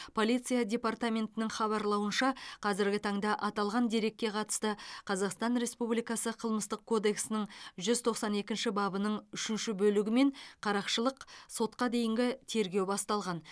полиция департаментінің хабарлауынша қазіргі таңда аталған дерекке қатысты қазақстан республикасы қылмыстық кодексінің жүз тоқсан екінші бабының үшінші бөлігімен қарақшылық сотқа дейінгі тергеу басталған